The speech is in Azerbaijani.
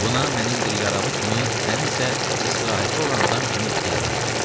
"Buna mənim bir yaralı kimi, sənin isə istirahətdə olan adam kimi ixtiyarım var."